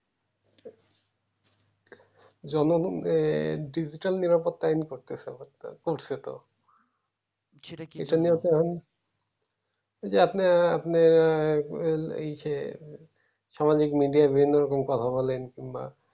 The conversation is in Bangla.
digital নিরাপরতা করতেছে করছে তো এইজন্য এখন যে আপনার আপনার ওই যে সমাবেগ নদিয়ার জন্য কথা বলেন কিংবা